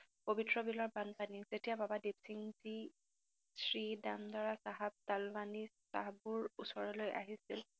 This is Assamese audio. পৱিত্ৰ বিলৰ বানপানী যেতিয়া বাবা দিপসিংজী শ্ৰীদামদাৰা চাহাব তালৱানি চাহাবৰ ওচৰলৈ আহিছিল,